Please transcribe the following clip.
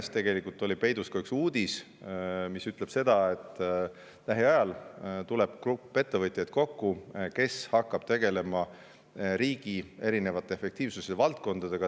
Minu tänases kõnes oli tegelikult peidus ka üks uudis: lähiajal tuleb kokku ettevõtjatest koosnev grupp, kes hakkab tegelema eri valdkondade efektiivsusega riigis.